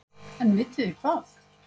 En vitiði hvað?